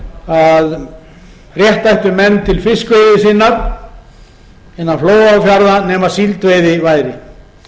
að rétt ættu menn til fiskiðju sinnar innan flóa og fjarða nema síldveiði væri